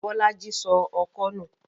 Bọ́lá í sọ ọkọ́ nù.